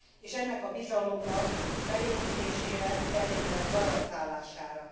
és ennek a bizalomnak felépítésére, a feltételek garantálására.